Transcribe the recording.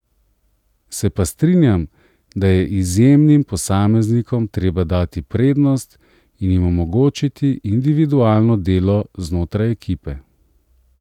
Se pa strinjam, da je izjemnim posameznikom treba dati prednost in jim omogočiti individualno delo znotraj ekipe.